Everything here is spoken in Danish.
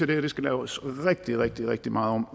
det her skal laves rigtig rigtig rigtig meget om